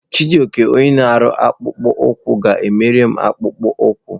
Chijioke onye na-akpụ akpụkpọ ụkwụ ga-emere m akpụkpọ ụkwụ.